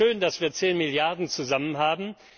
Es ist schön, dass wir 10 Milliarden Euro zusammen haben.